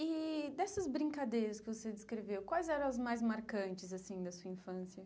E dessas brincadeiras que você descreveu, quais eram as mais marcantes assim da sua infância?